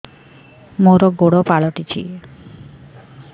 ମୋର ଗୋଡ଼ ପାଲଟିଛି